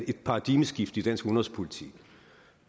et paradigmeskifte i dansk udenrigspolitik